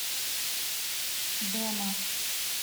дема